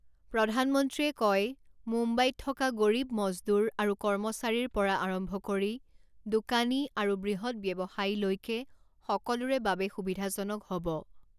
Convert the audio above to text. প্ৰধানমন্ত্ৰীয়ে কয়, মুম্বাইত থকা গৰীব মজদুৰ আৰু কৰ্মচাৰীৰ পৰা আৰম্ভ কৰি দোকানী আৰু বূহৎ ব্যৱসায়ীলৈকে সকলোৰে বাবে সুবিধাজনক হ’ব ।